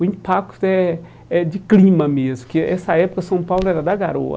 O impacto é é de clima mesmo, porque nessa época São Paulo era da garoa.